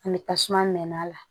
Ani tasuma mɛnɛ la